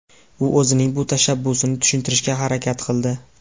U o‘zining bu tashabbusini tushuntirishga harakat qildi.